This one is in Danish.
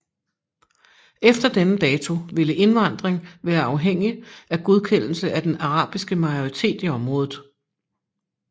Efter denne dato ville indvandring være afhængig af godkendelse af den arabiske majoritet i området